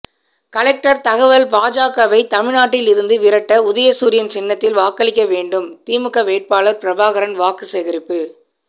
collector தகவல் பாஜகவை தமிழ்நாட்டிலிருந்து விரட்ட உதயசூரியன் சின்னத்தில் வாக்களிக்க வேண்டும் திமுக வேட்பாளர் பிரபாகரன் வாக்குசேகரிப்பு